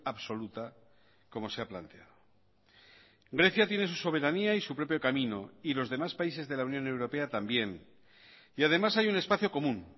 absoluta como se ha planteado grecia tiene su soberanía y su propio camino y los demás países de la unión europea también y además hay un espacio común